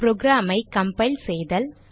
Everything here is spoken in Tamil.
program ஐ கம்பைல் செய்தல்